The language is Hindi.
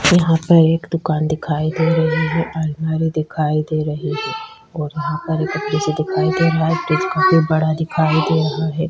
यहाँ पर एक दूकान दिखाई दे रही है आलमारी दिखाई दे रही है और यहाँ पर एक दिखाई दे रहा है फ्रिज काफी बड़ा दिखाई दे रहा है ।